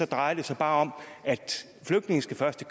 drejer det sig bare om at flygtninge skal først